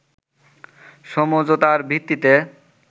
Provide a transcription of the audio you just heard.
সমঝোতার ভিত্তিতে